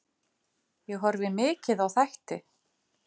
Ég horfi mikið á þætti.